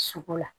Sugu la